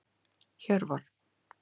Hjörvar